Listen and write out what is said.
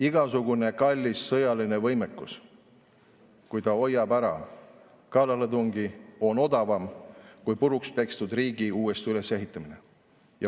Igasugune kallis sõjaline võimekus, kui ta hoiab ära kallaletungi, on odavam kui purukspekstud riigi uuesti ülesehitamine.